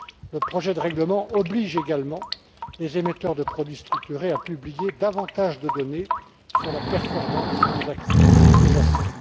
le projet de règlement oblige les émetteurs de produits structurés à publier davantage de données sur la performance des actifs sous jacents.